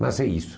Mas é isso.